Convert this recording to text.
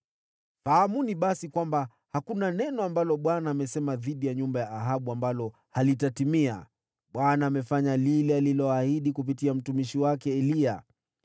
Fahamuni basi kwamba, hakuna neno ambalo Bwana amesema dhidi ya nyumba ya Ahabu ambalo halitatimia. Bwana amefanya lile aliloahidi kupitia mtumishi wake Eliya.”